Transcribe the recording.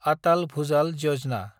आटाल भुजाल यजना